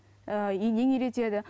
ііі енең үйретеді